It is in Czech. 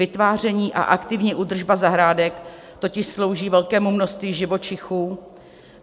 Vytváření a aktivní údržba zahrádek totiž slouží velkému množství živočichů.